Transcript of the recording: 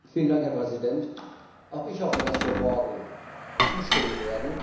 Herr Präsident! Auch ich hoffe, dass wir morgen zustimmen werden.